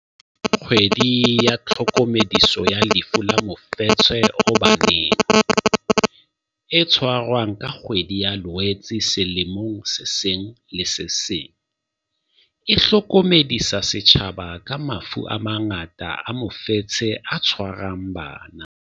KGWEDI YA TLHOKOMEDISO ya Lefu la Mofetshe o Baneng, e tshwarwang ka kgwedi ya Loetse selemong se seng le se seng, e hlokomedisa setjhaba ka mafu a mangata a mofetshe o tshwarang bana.